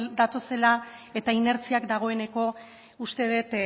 datozela eta inertziak dagoeneko uste dut